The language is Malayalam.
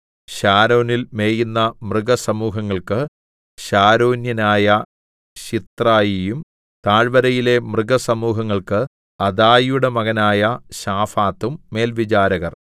ശാരോനിൽ മേയുന്ന മൃഗസമൂഹങ്ങൾക്ക് ശാരോന്യനായ ശിത്രായിയും താഴ്വരയിലെ മൃഗസമൂഹങ്ങൾക്ക് അദായിയുടെ മകനായ ശാഫാത്തും മേൽവിചാരകർ